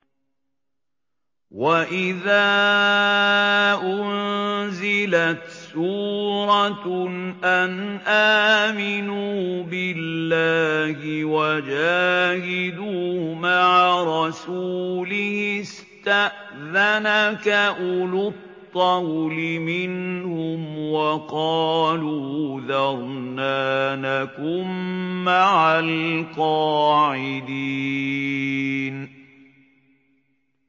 وَإِذَا أُنزِلَتْ سُورَةٌ أَنْ آمِنُوا بِاللَّهِ وَجَاهِدُوا مَعَ رَسُولِهِ اسْتَأْذَنَكَ أُولُو الطَّوْلِ مِنْهُمْ وَقَالُوا ذَرْنَا نَكُن مَّعَ الْقَاعِدِينَ